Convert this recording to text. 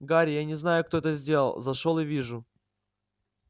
гарри я не знаю кто это сделал зашёл и вижу